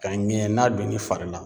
Ka ŋɛɲɛ n'a donn'i fari la